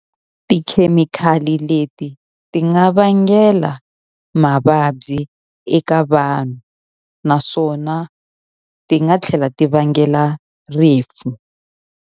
Tikhemikhali leti ti nga vangela mavabyi eka vanhu, naswona ti nga tlhela ti vangela rifu.